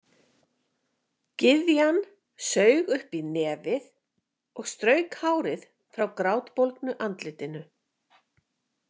Gyðjan saug upp í nefið og strauk hárið frá grátbólgnu andlitinu.